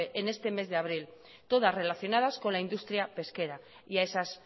en este mes de abril todas relacionadas con la industria pesquera y a esas